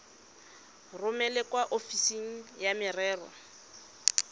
romele kwa ofising ya merero